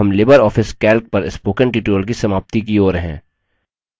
अब हम LibreOffice calc पर spoken tutorial की समाप्ति की ओर हैं